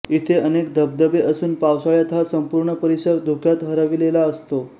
इथे अनेक धबधबे असुन पावसाळ्यात हा संपूर्ण परिसर धुक्यात हरविलेला असतो